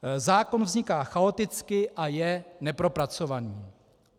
Zákon vzniká chaoticky a je nepropracovaný.